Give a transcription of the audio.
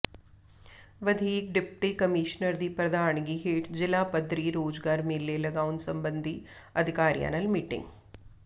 ਵਧੀਕ deputy commissioner ਦੀ ਪ੍ਰਧਾਨਗੀ ਹੇਠ ਜ਼ਿਲ੍ਹਾ ਪੱਧਰੀ ਰੋਜ਼ਗਾਰ ਮੇਲੇ ਲਗਾਉਣ ਸਬੰਧੀ ਅਧਿਕਾਰੀਆਂ ਨਾਲ ਮੀਟਿੰਗ